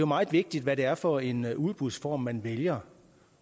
meget vigtigt hvad det er for en udbudsform man vælger